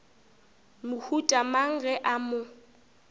mohuta mang ge a mo